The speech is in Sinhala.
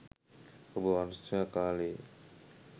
ඔබ වර්ෂා කාලයේ